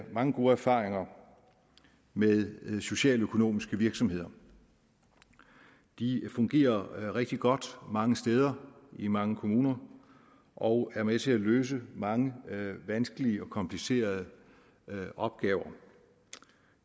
mange gode erfaringer med socialøkonomiske virksomheder de fungerer rigtig godt mange steder i mange kommuner og er med til at løse mange vanskelige og komplicerede opgaver